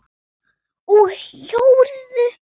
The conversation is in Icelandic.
Vaxa úr jörðu.